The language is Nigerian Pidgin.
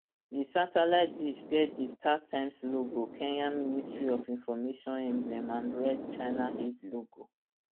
di satellite dish get di startimes logo kenya ministry of information emblem and red china aid logo